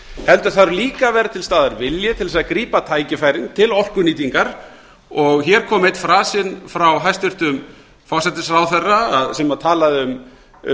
heldur þarf líka að vera til staðar vilji til að grípa tækifærin til orkunýtingar hér kom einn frasinn frá hæstvirtum forsætisráðherra sem talaði um